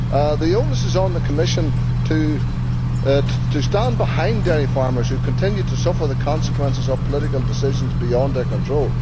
The onus is on the Commission to stand behind dairy farmers who continue to suffer the consequences of political decisions beyond their control.